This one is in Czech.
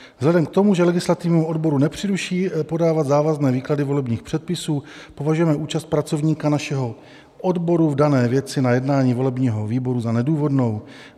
Vzhledem k tomu, že legislativnímu odboru nepřísluší podávat závazné výklady volebních předpisů, považujeme účast pracovníka našeho odboru v dané věci na jednání volebního výboru za nedůvodnou.